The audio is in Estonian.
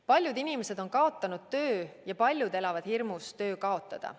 Paljud inimesed on kaotanud töö ja paljud elavad hirmus töö kaotada.